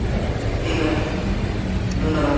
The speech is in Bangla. ঠিক আছে ধন্যবাদ।